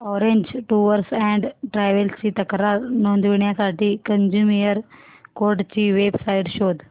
orange tours and travels ची तक्रार नोंदवण्यासाठी कंझ्युमर कोर्ट ची वेब साइट शोध